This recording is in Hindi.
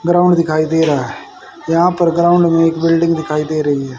ग्राउंड दिखाई दे रहा है यहां पर ग्राउंड में एक बिल्डिंग दिखाई दे रही है।